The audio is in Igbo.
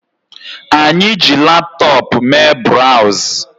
Anyi ji laptop Mee browz